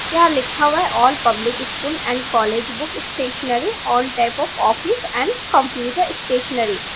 यहां लिखा हुआ है all public school and college book stationery all type of office and computer stationery.